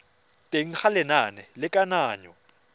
teng ga lenane la kananyo